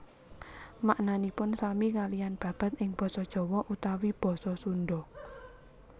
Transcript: Maknanipun sami kaliyan babad ing basa Jawa utawi basa Sunda